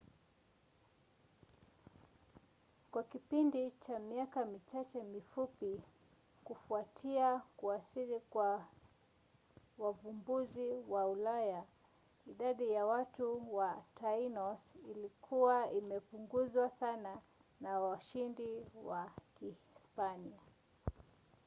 kwa kipindi cha miaka michache mifupi kufuatia kuwasili kwa wavumbuzi wa ulaya idadi ya watu ya tainos ilikuwa imepunguzwa sana na washindi wa kihispania